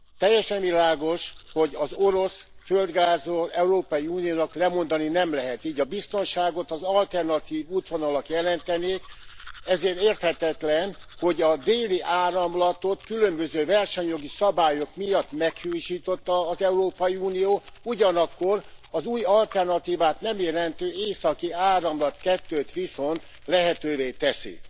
Teljesen világos, hogy az orosz földgázról az Európai Unió nem mondhat le, így a biztonságot az alternatív útvonalak jelentenék, ezért érthetetlen, hogy a Déli Áramlatot különböző versenyjogi szabályok miatt meghiúsította az Európai Unió, ugyanakkor az új alternatívát nem jelentő Északi Áramlat 2 t viszont lehetővé teszi.